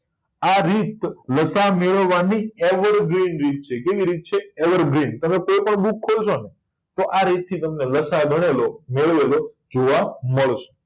આ રીત લસા મેળવવા ની ever green રીત છે કેવી રીત છે ever green તમે કોઈ પણ book ખોલશો ને તો આરીત થી તમને લસા ગણેલો મેળવેલો જોવા મળશે